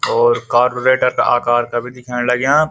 और कारबोरेटर का आकार का भी दिख्येण लग्याँ।